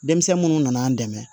Denmisɛn munnu nana an dɛmɛ